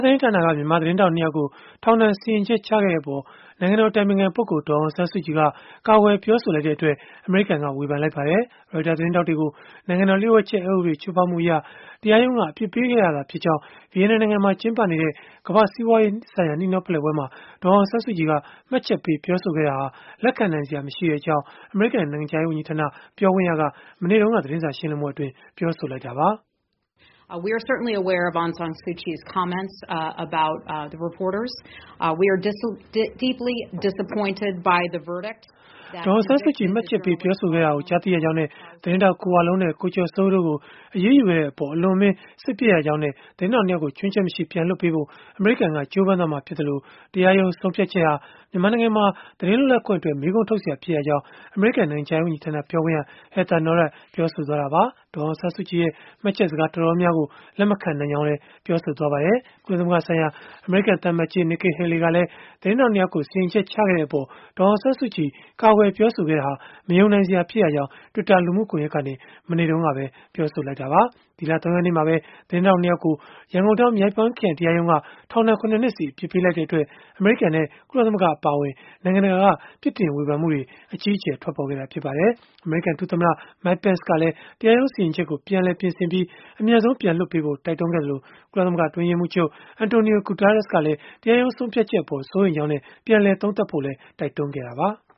သတင်းဌာနက မြန်မာသတင်းထောက်နှစ်ယောက်ကို ထောင်ဒဏ် စီရင်ချက်ချခဲ့တဲ့အပေါ် နိုင်ငံတော် အတိုင်ပင်ခံပုဂ္ဂိုလ် ဒေါ်အောင်ဆန်းစုကြည်က ကာကွယ်ပြောဆိုလိုက်တဲ့အတွက် အမေရိကန်က ဝေဖန်လိုက် ပါတယ်။ Reuters သတင်းထောက်တွေကို နိုင်ငံတော် လျှို့ဝှက်ချက်အက်ဥပဒေ ချိုးဖောက်မှုအရ တရားရုံးက အပြစ်ပေးခဲ့တာသာဖြစ်ကြောင်း ဗီယက်နမ်နိုင်ငံမှာ ကျင်းပနေတဲ့ ကမ္ဘာ့စီးပွားရေးဆိုင်ရာ နှီးနှောဖလှယ်ပွဲမှာ ဒေါ်အောင်ဆန်းစုကြည် က မှတ်ချက်ပေးပြောဆိုခဲ့တာဟာ လက်ခံနိုင်စရာမရှိကြောင်း အမေရိကန် နိုင်ငံခြားရေး ဝန်ကြီးဌာန ပြောခွင့်ရက မနေ့တုန်းက သတင်းစာရှင်းလင်းပွဲမှာ ပြောဆိုလိုက်တာပါ။ ဒေါ်အောင်ဆန်းစုကြည် မှတ်ချက်ပေး ပြောဆိုခဲ့တာကို ကြားသိရကြောင်းနဲ့ သတင်းထောက် ကို ဝလုံး နဲ့ ကိုကျော်စိုးဦးတို့ကို အရေးယူခဲ့တဲ့အပေါ် အလွန်အမင်း စိတ်ပျက်ရကြောင်းနဲ့ သတင်း ထောက် နှစ်ယောက်ကို ခြွင်းချက်မရှိ ပြန်လွှတ်ပေးဖို့ အမေရိကန်က ကြိုးပမ်းသွားမှာဖြစ်သလို တရားရုံးဆုံးဖြတ်ချက်ဟာ မြန်မာနိုင်ငံမှာ သတင်းလွတ်လပ်ခွင့်အတွက် မေးခွန်းထုတ်စရာ ဖြစ် ရကြောင်း အမေရိကန် နိုင်ငံခြားရေးဝန်ကြီးဌာန ပြောခွင့်ရ Heather Nauert ကပြောဆိုသွားတာပါ။ ဒေါ်အောင်ဆန်းစုကြည်ရဲ့ မှတ်ချက်စကား တော်တော်များများကို လက်မခံနိုင်ကြောင်းလည်း ပြော ဆိုခဲ့ပါ တယ်။ ကုလသမဂ္ဂဆိုင်ရာ အမေရိကန်သံအမတ်ကြီး Nikki Haley ကလည်း သတင်းထောက် နှစ်ယောက်ကို စီရင်ချက်ချခဲ့တဲ့အပေါ် ဒေါ်အောင်ဆန်းစုကြည် ကာကွယ် ပြောဆို ခဲ့တာဟာ မယုံနိုင်စရာ ဖြစ်ရကြောင်း Twitter လူမှုကွန်ယက်ကနေ မနေ့တုန်းကပဲ ပြောဆို လိုက်တာပါ။ ဒီလ ၃ ရက်နေ့မှာပဲ သတင်းထောက် ၂ ယောက်ကို ရန်ကုန်တိုင်း မြောက်ပိုင်းခရိုင် တရားရုံးက ထောင်ဒဏ် ၇ နှစ်စီ အပြစ်ပေးလိုက်တဲ့အတွက် အမေရိကန်နဲ့ ကုလသမဂ္ဂ အပါအဝင် နိုင်ငံ တကာက ပြစ်တင်ဝေဖန်မှုတွေ အကြီးအကျယ် ထွက်ပေါ်ခဲ့တာ ဖြစ်ပါတယ်။ အမေရိကန် ဒုသမ္မတ Mike Pence ကလည်း တရားရုံး စီရင်ချက်ကို ပြန်လည် ပြင်ဆင်ပြီး အမြန်ဆုံးပြန်လွှတ်ပေးဖို့ တိုက်တွန်းခဲ့သလို ကုလသမဂ္ဂ အတွင်းရေးမှူးချုပ် Antonio Guterres ကလည်း တရားရုံး ဆုံးဖြတ်ချက်အပေါ် စိုးရိမ်ကြောင်းနဲ့ ပြန်လည်သုံးသပ်ဖို့လည်း တိုက်တွန်းခဲ့ကြတာပါ။